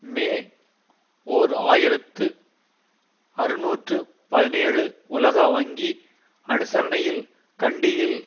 மே ஓர் ஆயிரத்து அறுநூற்று பதினேழு உலக வங்கி அனுசரனையில் கண்டியில்